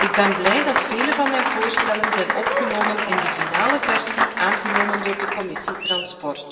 Ik ben blij dat vele van mijn voorstellen zijn opgenomen in de definitieve versie, aangenomen door de Commissie vervoer.